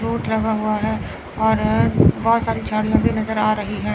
Root लगा हुआ है और बहुत सारी झाड़ियां भी नजर आ रहीं हैं।